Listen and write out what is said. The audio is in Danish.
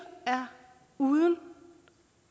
uden